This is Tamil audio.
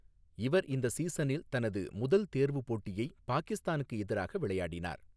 இவர் இந்த சீசனில் தனது முதல் தேர்வு போட்டியை பாகிஸ்தானுக்கு எதிராக விளையாடினார்.